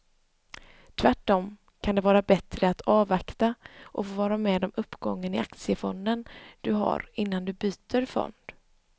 Tvärtom kan det vara bättre att avvakta och få vara med om uppgången i aktiefonden du har innan du byter fond.